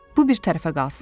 Bu bir tərəfə qalsın.